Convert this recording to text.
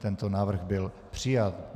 Tento návrh byl přijat.